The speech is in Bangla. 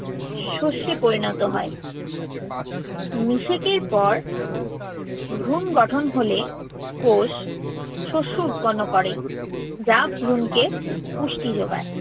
শস্যে পরিণত হয়। নিষেকের পর ভ্রূণ গঠন হলে কোষ শস্য উৎপন্ন করে। যা ভ্রূণকে পুষ্টি যোগায়।